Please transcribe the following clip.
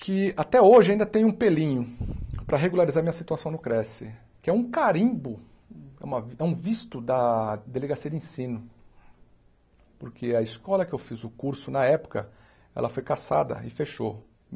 que até hoje ainda tem um pelinho para regularizar minha situação no Cresce, que é um carimbo, uma é um visto da Delegacia de Ensino, porque a escola que eu fiz o curso, na época, ela foi cassada e fechou.